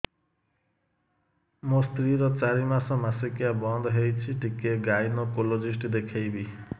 ମୋ ସ୍ତ୍ରୀ ର ଚାରି ମାସ ମାସିକିଆ ବନ୍ଦ ହେଇଛି ଟିକେ ଗାଇନେକୋଲୋଜିଷ୍ଟ ଦେଖେଇବି